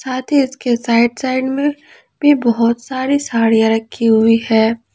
साथ ही उसके साइड साइड में पे बहुत सारी साड़ियां रखी हुई है।